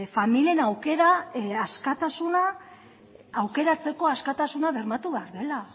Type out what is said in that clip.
familien aukeratzeko askatasuna bermatu behar dela